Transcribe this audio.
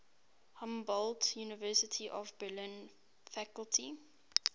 humboldt university of berlin faculty